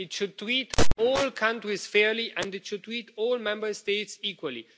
It should treat all countries fairly and it should treat all Member States equally.